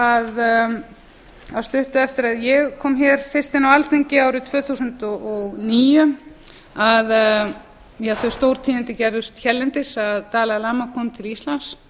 að stuttu eftir að ég kom hér fyrst inn á alþingi árið tvö þúsund og níu að ja þau stórtíðindi gerðust hérlendis að dalai lama kom til íslands